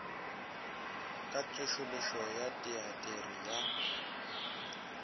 ka tsošološo ya teatere ya